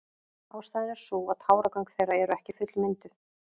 Ástæðan er sú að táragöng þeirra eru ekki fullmynduð.